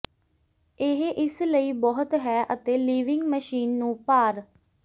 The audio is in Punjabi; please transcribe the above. ਇਹ ਇਸ ਲਈ ਬਹੁਤ ਹੈ ਅਤੇ ਿਲਵਿੰਗ ਮਸ਼ੀਨ ਨੂੰ ਭਾਰ